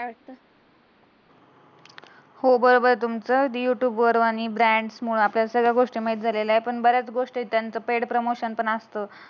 हो बरोबर आहे तुमचं. युट्युब वर आणि ब्रँडमूळ आपल्याला सगळ्या गोष्टी माहित झाल्याला आहे. पण बऱ्याच गोष्टी त्यांचं पेड प्रमोशन पण असत.